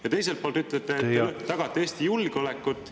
Ja teiselt poolt te ütlete, et te tagate Eesti julgeolekut.